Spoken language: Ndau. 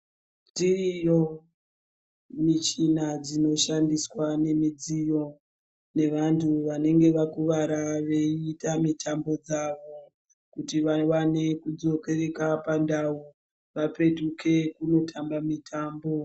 Dziriyo michina dzinoshandiswa nemidziyo nevantu vanenge vakuvara veiita mitambo dzavo kuti vawane kudzokoreka pandau kuti vapetuke kootamba mutambo.